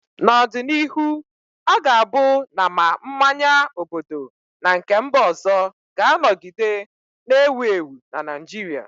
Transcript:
N'ọdịnihu, ọ ga-abụ na ma mmanya obodo na nke mba ọzọ ga-anọgide na-ewu ewu na Naịjirịa